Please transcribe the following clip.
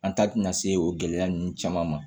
An taa tɛna se o gɛlɛya ninnu caman ma